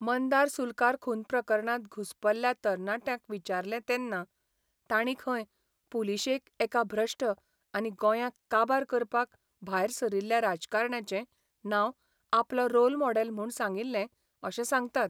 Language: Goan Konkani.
मंदार सुलकार खून प्रकरणांत घुस्पल्ल्या तरणाट्यांक विचारलें तेन्ना तांणी खंय पुलिशेक एका भ्रश्ट आनी गोंयांक काबार करपाक भायर सरिल्ल्या राजकारण्याचें नांव आपलो रोल मॉडेल म्हूण सांगिल्ले अशें सांगतात.